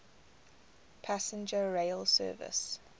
passenger rail service